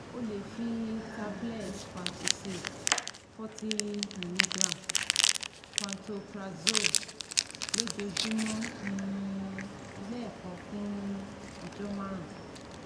O le fi tablet Pantocid forty mg (Pantoprazole) lojoojumọ um lẹẹkan fun ọjọ marun